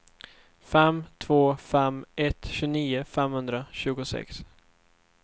fem två fem ett tjugonio femhundratjugosex